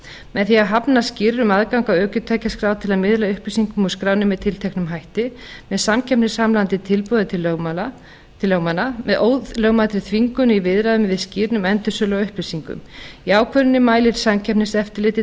með því að hafna skýrr um aðgang ökutækjaskrá til að miðla upplýsingum úr skránni með tilteknum hætti með samkeppnishamlandi tilboði til lögmanna með ólögmætri þvingun í viðræðum við skýrr um endursölu á upplýsingum í ákvörðuninni mælir samkeppniseftirlit